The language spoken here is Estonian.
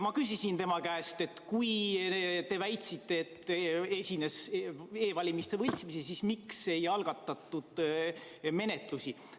Ma küsisin tema käest: kui te väitsite, et e-valimistel esines võltsimisi, siis miks ei algatatud menetlusi?